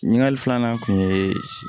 Ɲininkali filanan kun ye